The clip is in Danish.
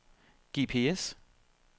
GPS